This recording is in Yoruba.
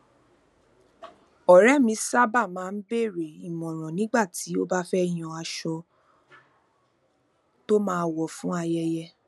òré mi sábà máa ń béèrè ìmòràn nígbà tó bá fé yan aṣọ tó máa wò fún ayẹyẹ